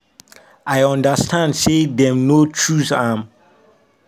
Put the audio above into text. “i understand say dem no choose am”.